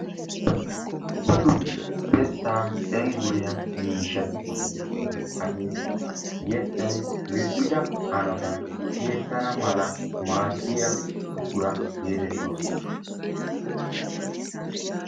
Dumma dumma yettaa cengguriya miishshati de"oosona hageetikka yettayi lill"ida hanotan tiyettana mala maaddiya buqura geetettoosona.